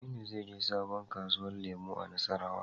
Aminu zai je sabo kasuwa lemu a nassarawa